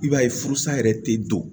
I b'a ye furusa yɛrɛ tɛ don